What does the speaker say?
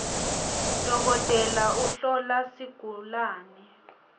dokotela uhlola sigulawe